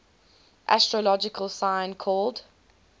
astrological sign called